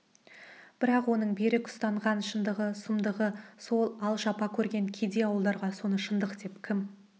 бірақ оның берік ұстанған шындығы сұмдығы сол ал жапа көрген кедей ауылдарға соны шындық деп кім